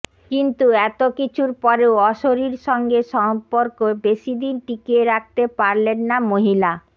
কিন্তু এত কিছুর পরেও অশীরির সঙ্গে সম্পর্ক বেশিদিন টিকিয়ে রাখতে পারলেন না মহিলা